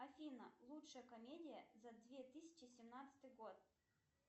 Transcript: афина лучшая комедия за две тысячи семнадцатый год